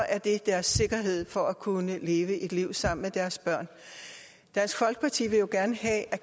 er det deres sikkerhed for at kunne leve et liv sammen med deres børn dansk folkeparti vil jo gerne have at